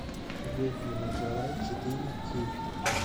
ведьмина гора четыре кей